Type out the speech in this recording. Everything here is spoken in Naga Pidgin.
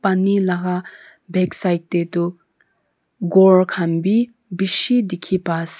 pani laga backside te toh ghor khan bi bishi dikhi pai ase.